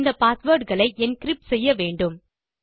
இந்த பாஸ்வேர்ட் களை என்கிரிப்ட் செய்ய வேண்டும்